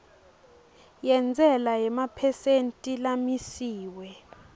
yentsela yemaphesenthi lamisiwe